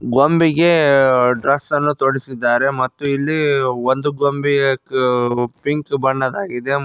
ಗೊಂಬೆಗೆ dress ಅನ್ನು ತೊಡಿಸಿದ್ದಾರೆ ಮತ್ತು ಇಲ್ಲಿ ಒಂದು ಗೊಂಬೆಯ ಆ ಪಿಂಕ್ ಬಣ್ಣದ್ದಾಗಿದೆ ಮ--